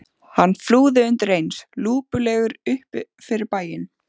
Hann flúði undir eins lúpulegur upp fyrir bæinn.